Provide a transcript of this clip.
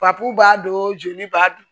b'a don joli b'a dun